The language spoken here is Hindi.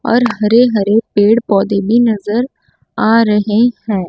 और हरे हरे पेड़ पौधे भी नजर आ रहे हैं।